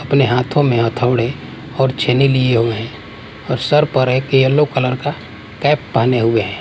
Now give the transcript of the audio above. अपने हाथों में हथौड़े और छेनी लिए हुए हैं और सर पर एक येलो कलर का कैप पहने हुए हैं --